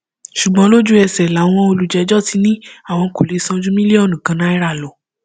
ṣùgbọn lójúẹsẹ làwọn olùjẹjọ ti ní àwọn kò lè san ju mílíọnù kan náírà lọ